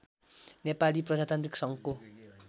नेपाली प्रजातान्त्रिक सङ्घको